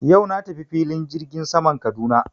Yau na tafi filin jirgin saman Kaduna.